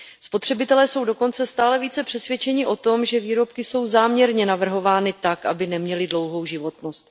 Spotřebitelé jsou dokonce stále více přesvědčeni o tom, že výrobky jsou záměrně navrhovány tak, aby neměly dlouhou životnost.